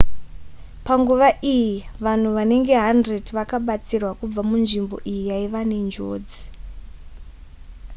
panguva iyi vanhu vanenge 100 vakabatsirwa kubva munzvimbo iyi yaiva nenjodzi